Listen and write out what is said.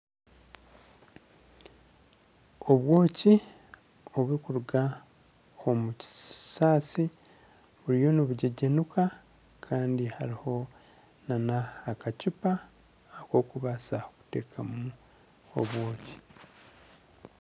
Obwoki oburikuruga omu kisaasi, buriyo nibugyegyenuka kandi hariho nana akacupa akokubaasa kuteekamu obwoki.